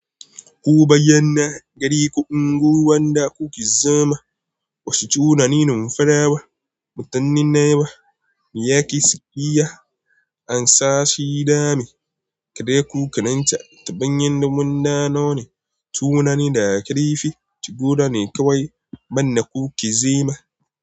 Ku bayyana gari ko unguwar da kuke zama. Uscu na nufin farawa mutanen na yawa, mai ya ke saya? An sa shi dami. Kade ku kanan ca ta ɗan yin nimun nanoni tuwo na nida karfi ci guda ne kawai manne kuke zama.